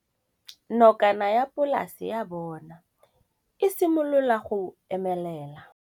Nokana ya polase ya bona, e simolola go omelela.